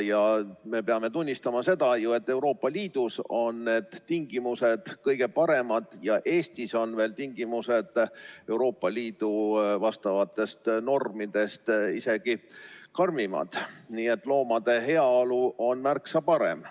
Me peame tunnistama, et Euroopa Liidus on tingimused kõige paremad ja Eestis on need tingimused Euroopa Liidu vastavatest normidest isegi karmimad, nii et loomade heaolu on siin märksa parem.